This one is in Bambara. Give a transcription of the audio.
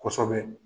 Kosɛbɛ